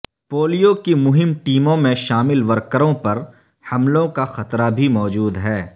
polio کی مہم ٹیموں میں شامل ورکروں پر حملوں کا خطرہ بھی موجود ہے